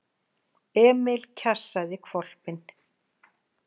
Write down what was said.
Emil kjassaði hvolpinn.